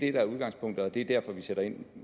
er udgangspunktet og det er derfor vi sætter ind